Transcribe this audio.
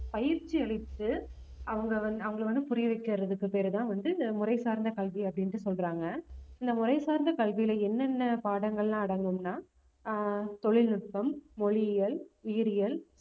பயிற்சியளித்து அவங்க வந்து அவங்களை வந்து புரிய வைக்கிறதுக்கு பேருதான் வந்து இந்த முறை சார்ந்த கல்வி அப்படின்னுட்டு சொல்றாங்க இந்த முறை சார்ந்த கல்வியில என்னென்ன பாடங்கள்லாம் அடங்கும்னா ஆஹ் தொழில்நுட்பம், மொழியியல், உயிரியல்